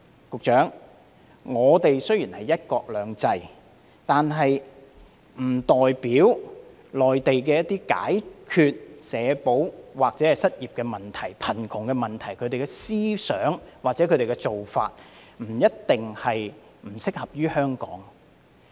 局長，雖然我們是"一國兩制"，但這並不代表內地一些解決社保或失業問題、貧窮問題的思想或做法就一定不適合香港。